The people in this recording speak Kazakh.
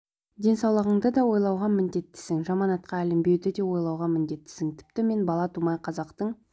денсаулығыңды да ойлауға міндеттісің жаман атаққа ілінбеуді де ойлауға міндеттісің тіпті мен бала тумай қазақтың